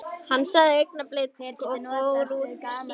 Hann sagði augnablik og fór úr símanum.